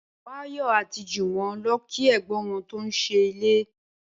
Báyò̩ àti Jùwó̩n lo̩ kí è̩gbón wo̩n tó ń s̩ílé